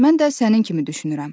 "Mən də sənin kimi düşünürəm."